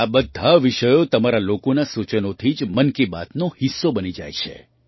આ બધા વિષયો તમારા લોકોનાં સૂચનોથી જ મન કી બાતનો હિસ્સો બની જાય છે